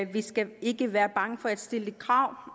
vi skal ikke være bange for at stille krav